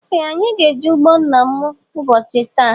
Ee anyị gá -eje ụgbọ nna mụ ụbọchị taa.